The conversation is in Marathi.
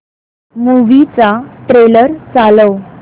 मूवी चा ट्रेलर चालव